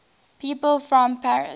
people from paris